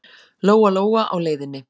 Lóa-Lóa á leiðinni.